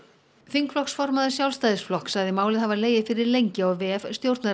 þingflokksformaður Sjálfstæðisflokks sagði málið hafa legið fyrir lengi á vef